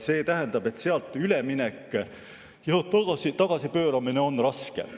See tähendab, et tagasipööramine on raske.